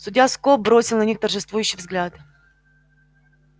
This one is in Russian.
судья скоп бросил на них торжествующий взгляд